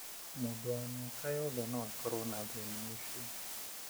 Mũndũ wa mĩaka yothe no akorũo na thĩna ũcio.